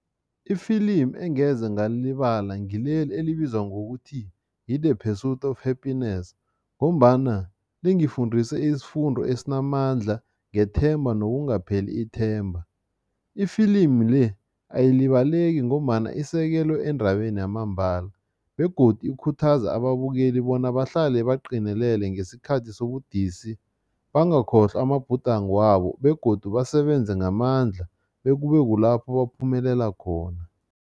Ifilimi engeze ngalilibala ngileli elibizwa ngokuthi yi-The Pursuit of Happiness ngombana lingifundise isifundo esinamandla ngethemba nokungapheli ithemba. Ifilimi le ayilibaleki ngombana isekelo endabeni yamambala begodu ikhuthaza ababukeli bona bahlale baqinilele ngesikhathi sobudisi, bangakhohlwa amabhudango wabo begodu basebenze ngamandla bekube kulapho baphumelela khona.